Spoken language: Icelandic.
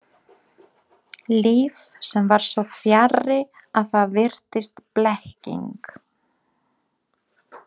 Líf sem var svo fjarri að það virtist blekking.